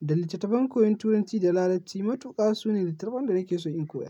da littattafan koyon turanci da larabci. Matuƙa sune littattafan da nake so in koya.